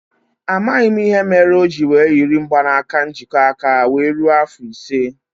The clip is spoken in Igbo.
A maghị m ìhè méré oji were yiri mgbanaka njikọ aka wéé rue afọ ise